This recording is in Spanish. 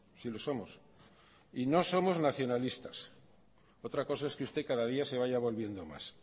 sí lo somos y no somos nacionalistas otra cosa es que usted cada día se vaya volviendo más